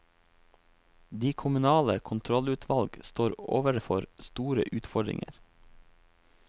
De kommunale kontrollutvalg står overfor store utfordringer.